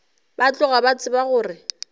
ba tloga ba tseba gore